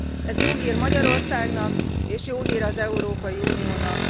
Ez jó hír Magyarországnak, és jó hír az Európai Uniónak.